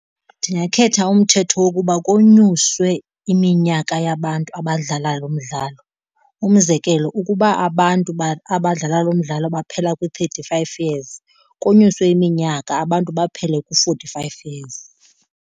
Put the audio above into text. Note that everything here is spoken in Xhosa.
Ndingakhetha umthetho wokuba konyuswe iminyaka yabantu abadlala lo mdlalo. Umzekelo, ukuba abantu abadlala mdlalo baphela kwi-thirty five years, konyuswe iminyaka abantu baphele ku-forty five years.